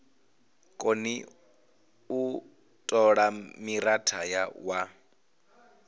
koni u tola mithara wa